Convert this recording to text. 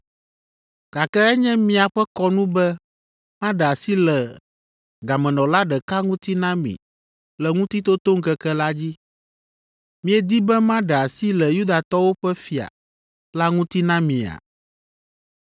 Gake enye míaƒe kɔnu be maɖe asi le gamenɔla ɖeka ŋuti na mi le Ŋutitotoŋkeke la dzi. Miedi be maɖe asi le ‘Yudatɔwo ƒe fia’ la ŋuti na mia?”